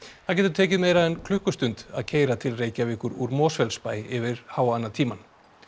það getur tekið meira en klukkustund að keyra til Reykjavíkur úr Mosfellsbæ yfir háannatímann